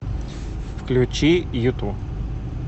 включи юту